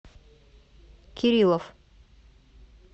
кириллов